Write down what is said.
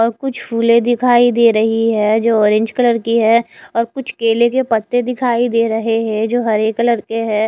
और कुछ फुले दिखाई दे रही है जो ऑरेंज कलर की है और कुछ केले के पत्ते दिखाई दे रहे है जो हरे कलर के है।